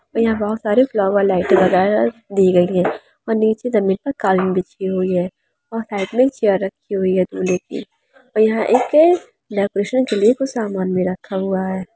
यहां बहुत सारे फ्लावर लाइट दी गई है और नीचे जमीन पर कालीन बिछी हुई है और साइड में चेयर रखी हुई दूल्हे की यहां एक डेकोरेशन के लिए सामान भी रखा हुआ है|